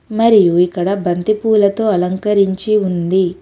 మరియు ఇక్కడ బంతిపూలతో అలంకరించి ఉంది.